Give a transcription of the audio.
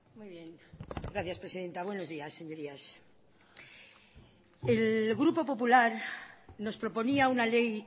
muy bien gracias presidenta buenos días señorías el grupo popular nos proponía una ley